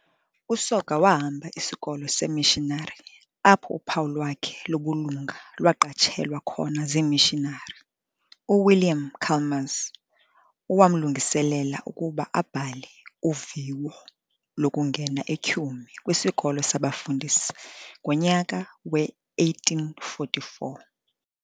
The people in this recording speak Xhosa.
USoga wahamba isikolo seemishinari apho uphawu lwakhe lobulunga lwaqatshelwa khona zimishinari, uWilliam Chalmers owamlungiselela ukuba abhale uviwo lokungena eTyhume kwisikolo sabafundisi ngonyaka we-1844.